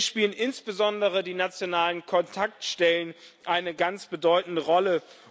Hier spielen insbesondere die nationalen Kontaktstellen eine ganz bedeutende Rolle.